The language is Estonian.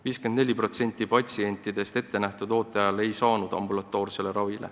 54% patsientidest ei saanud ettenähtud ooteajal ambulatoorset ravi.